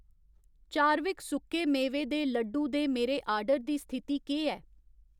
Chadwick सुक्के मेवे दे लड्डू दे मेरे आर्डर दी स्थिति केह् ऐ